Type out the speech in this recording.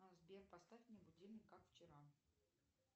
сбер поставь мне будильник как вчера